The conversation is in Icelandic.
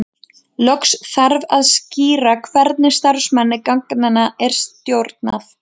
Loks þarf að skýra hvernig starfsemi genanna er stjórnað.